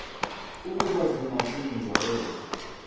ukuba zingathinjwa ezo